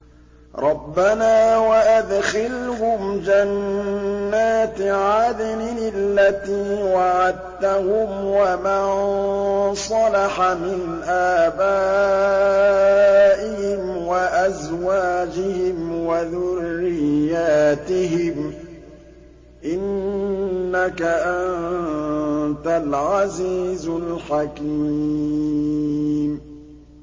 رَبَّنَا وَأَدْخِلْهُمْ جَنَّاتِ عَدْنٍ الَّتِي وَعَدتَّهُمْ وَمَن صَلَحَ مِنْ آبَائِهِمْ وَأَزْوَاجِهِمْ وَذُرِّيَّاتِهِمْ ۚ إِنَّكَ أَنتَ الْعَزِيزُ الْحَكِيمُ